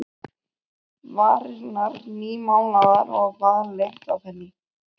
Varirnar nýmálaðar og baðlykt af henni.